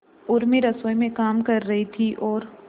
उर्मी रसोई में काम कर रही थी और